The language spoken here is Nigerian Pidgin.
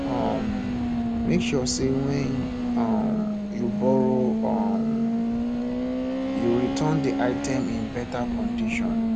um make sure say when um you borrow um you return di item in better condition